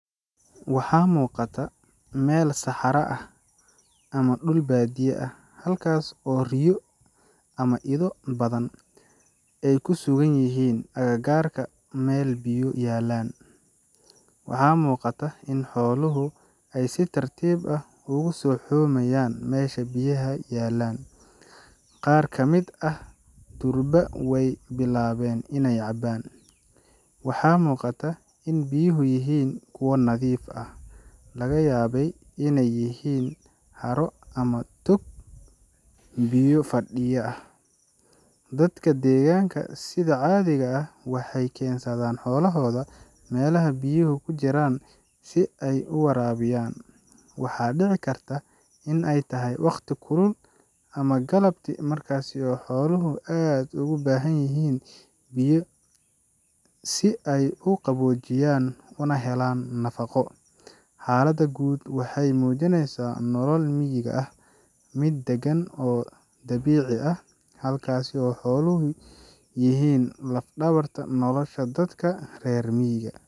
Waxaa muuqata meel saxara ah ama dhul baadiye ah, halkaas oo riyo ama ido badan ay ku sugan yihiin agagaarka meel biyo yaallaan. Waxaa muuqata in xooluhu ay si tartiib ah ugu soo xoomayaan meesha biyaha yaallaan, qaar ka mid ahna durba way bilaabeen inay cabbaan. Waxaa muuqata in biyuhu yihiin kuwo nadiif ah, laga yaabee inay yihiin haro ama tog biyo fadhiya ah. Dadka deegaanka sida caadiga ah waxay keensadaan xoolahooda meelaha biyuhu ku jiraan si ay u waraabiyaan. Waxaa dhici karta in ay tahay waqti kulul ama galabtii, markaas oo xooluhu aad ugu baahan yihiin biyo si ay u qaboojiyaan una helaan nafaqo. Xaalada guud waxay muujinaysaa nolol miyiga ah, mid dagan oo dabiici ah, halkaas oo xooluhu yihiin laf-dhabarta nolosha dadka reer miyiga.